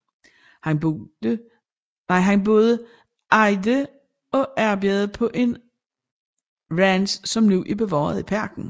Han både ejede og arbejdede på en ranch som nu er bevaret i parken